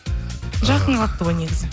жақын қалыпты ғой негізі